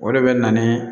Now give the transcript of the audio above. O de bɛ na ni